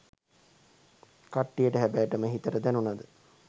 කට්ටියට හැබෑටම හිතට දැනුණද